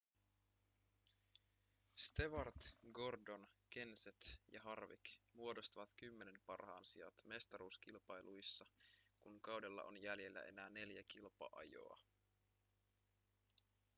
stewart gordon kenseth ja harvick muodostavat kymmenen parhaan sijat mestaruuskilpailuissa kun kaudella on jäljellä enää neljä kilpa-ajoa